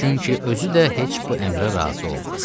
Çünki özü də heç bu əmrə razı olmaz.